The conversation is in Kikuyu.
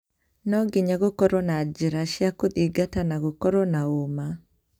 No nginya gũkorwe na njĩra cia kũthingata na gũkorwe na ũũma",Bw